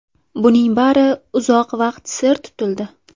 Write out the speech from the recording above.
Buning bari uzoq vaqt sir tutildi.